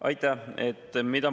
Aitäh!